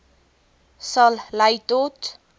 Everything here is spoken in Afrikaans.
sal lei tot